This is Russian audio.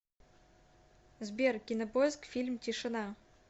сбер кинопоиск фильм тишина